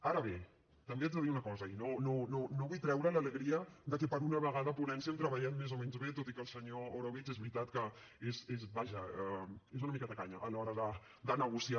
ara bé també haig de dir una cosa i no vull treure l’alegria de que per una vegada a ponència hem treballat més o menys bé tot i que el senyor orobitg és veritat que és vaja una mica tacany a l’hora de negociar